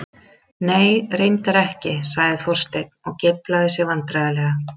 Nei, reyndar ekki- sagði Þorsteinn og geiflaði sig vandræðalega.